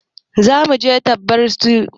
Zamu je tarbar su a filin jirgin sama gobe.